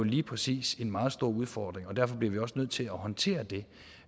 lige præcis en meget stor udfordring og derfor bliver vi også nødt til at håndtere det